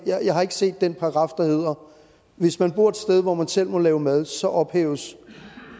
jeg har ikke set den paragraf der hedder hvis man bor et sted hvor man selv må lave mad så ophæves